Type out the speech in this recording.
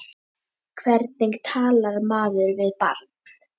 Hvernig talar maður við barn?